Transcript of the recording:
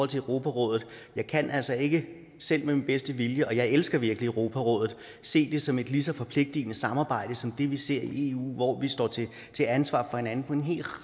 til europarådet jeg kan altså ikke selv med min bedste vilje og jeg elsker virkelig europarådet se det som et lige så forpligtende samarbejde som det vi ser i eu hvor vi står til ansvar for hinanden på en hel